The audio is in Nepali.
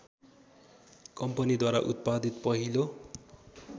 कम्पनीद्वारा उत्पादित पहिलो